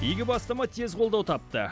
игі бастама тез қолдау тапты